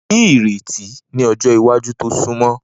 Ni ireti ni ọjọ iwaju to sunmọ